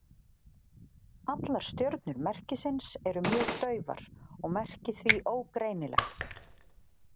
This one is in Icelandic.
Allar stjörnur merkisins eru mjög daufar og merkið því ógreinilegt.